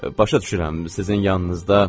Başa düşürəm sizin yanınızda.